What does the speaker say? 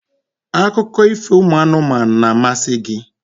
akụkọ ifo ụmụ anụmanụ na-amasị gị?